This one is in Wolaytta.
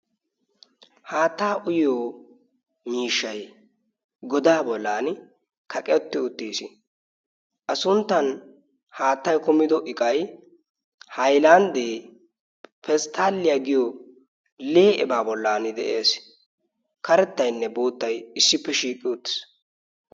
haattaa uyyo miishshay godaa bollan kaqetti uttiis. a sunttan haattay kumido iqay hailanddee pesttaliyaa giyo lee'ebaa bollan de'ees. karettaynne boottay issippe shiiqqi utis.